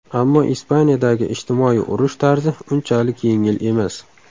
Ammo Ispaniyadagi ijtimoiy turmush tarzi unchalik yengil emas.